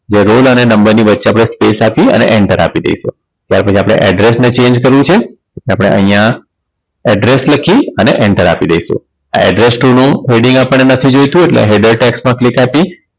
ત્યાં રોલ અને નંબર ની વચ્ચે આપડે Space આપીયે અને enter આપી દઈશું ત્યાર પછી આપણે address ને Change કરવું છે. પછી આપણે અહીંયા address લખી enter આપી દઈશું આ address to નું Heading આપણને નથી જોયતું એટલે header tax માં click આપી